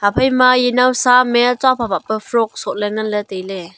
ephai ma nowsa am chua phah phah pe frog soh ley ngan ley tai ley.